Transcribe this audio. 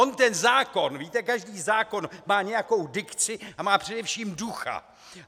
On ten zákon, víte, každý zákon má nějakou dikci a má především ducha.